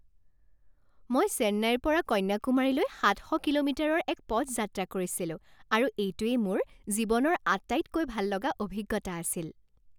মই চেন্নাইৰ পৰা কন্যাকুমাৰীলৈ সাত শ কিলোমিটাৰৰ এক পথ যাত্ৰা কৰিছিলো আৰু এইটোৱেই মোৰ জীৱনৰ আটাইতকৈ ভাললগা অভিজ্ঞতা আছিল।